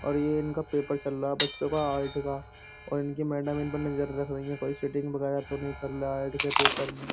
और ये इनका पेपर चल रहा बच्चों का आर्ट का और इनकी मैडम इनपे नजर रख रखी हैं। कोई चीटिंग वगेरा तो नहीं कर रहा है आर्ट के पेपर में।